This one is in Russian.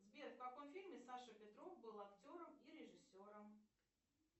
сбер в каком фильме саша петров был актером и режиссером